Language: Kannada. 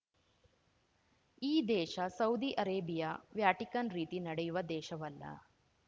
ಈ ದೇಶ ಸೌದಿ ಅರೇಬಿಯಾ ವ್ಯಾಟಿಕನ್‌ ರೀತಿ ನಡೆಯುವ ದೇಶವಲ್ಲ